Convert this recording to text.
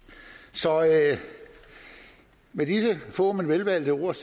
så med disse få men velvalgte ord